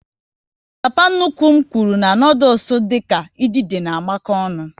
Papa nnukwu m nwuru na noodules dịka idide na amako ọnụ